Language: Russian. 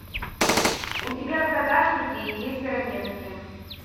у тебя в загашнике есть ранетки